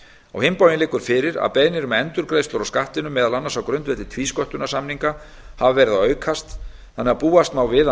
á hinn bóginn liggur fyrir að beiðnir um endurgreiðslu á skattinum meðal annars á grundvelli tvísköttunarsamninga hafa verið að aukast þannig að búast má við að